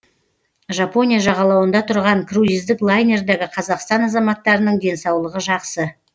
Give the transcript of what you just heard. жапония жағалауында тұрған круиздік лайнердегі қазақстан азаматтарының денсаулығы жақсы